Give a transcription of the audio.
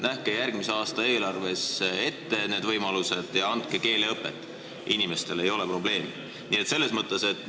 Nähke järgmise aasta eelarves need võimalused ette ja andke inimestele keeleõpet, ei ole probleemi.